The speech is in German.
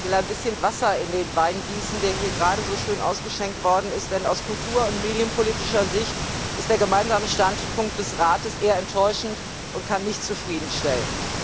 Ich will ein bisschen Wasser in den Wein gießen, der hier gerade jetzt so schön ausgeschenkt worden ist, denn aus kultur und medienpolitischer Sicht ist der Gemeinsame Standpunkt des Rates eher enttäuschend und kann nicht zufriedenstellen.